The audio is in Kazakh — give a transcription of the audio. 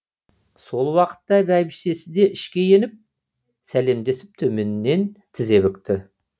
сол уақытта бәйбішесі де ішке еніп сәлемдесіп төменнен тізе бүкті